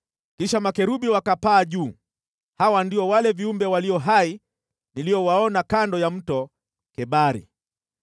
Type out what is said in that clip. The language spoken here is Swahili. Kisha makerubi wakapaa juu. Hawa ndio wale viumbe walio hai niliowaona kando ya Mto Kebari.